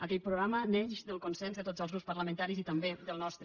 aquell programa neix del con·sens de tots els grups parlamentaris i també del nos·tre